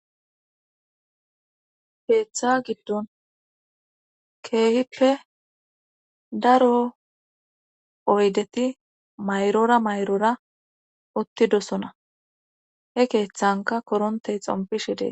keeththa giddon keehippe daro oydeti mayrora mayrora uttidosona he keeththanka korontey xompishi des